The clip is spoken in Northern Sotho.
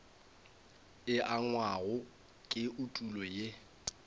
e angwago ke etulo ye